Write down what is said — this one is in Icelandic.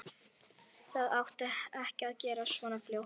Það átti ekki að gerast svona fljótt.